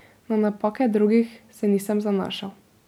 Na napake drugih se nisem zanašal.